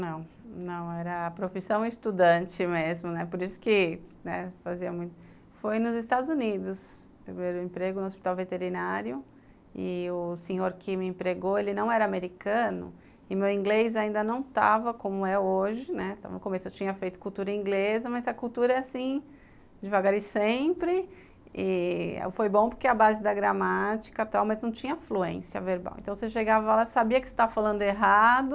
Não, não, era a profissão estudante mesmo, né, por isso que, né, fazia muito... Foi nos Estados Unidos, meu primeiro emprego no hospital veterinário, e o senhor que me empregou, ele não era americano, e meu inglês ainda não estava como é hoje, né, no começo eu tinha feito cultura inglesa, mas a cultura é assim, devagar e sempre, e foi bom porque a base da gramática e tal, mas não tinha fluência verbal, então você chegava lá, sabia que você estava falando errado,